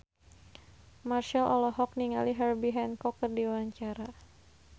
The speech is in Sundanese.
Marchell olohok ningali Herbie Hancock keur diwawancara